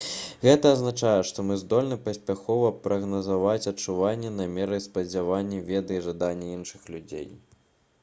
гэта азначае што мы здольны паспяхова прагназаваць адчуванні намеры спадзяванні веды і жаданні іншых людзей